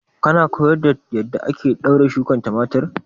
Kana koyar da yadda ake ɗaure shukar tumatir?